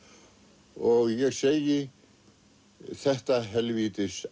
og ég segi þetta helvítis